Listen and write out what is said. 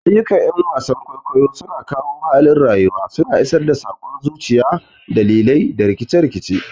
Ayyukan 'yan wasan kwaikwayo suna kawo halin rayuwa, suna isar da sakon zuciya, dalilai, da rikice-rikice.